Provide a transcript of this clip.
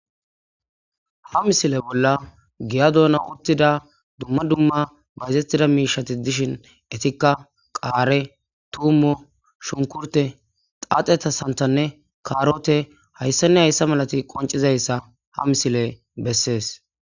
ha misile bolla giya doona uttida dumma dumma bayzettida miishati dishin etikka qaare tuummo shunkurte xaaxeta santanne kaarote hayssanne hayssa malati qoncizayssa ha misile bessees